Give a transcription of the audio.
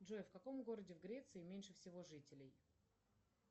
джой в каком городе в греции меньше всего жителей